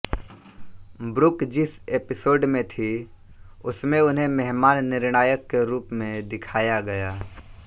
Brooke जिस episode में थीं उसमें उन्हें मेहमान निर्णायक के रूप में दिखाया गया